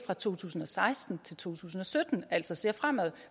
fra to tusind og seksten til to tusind og sytten altså ser fremad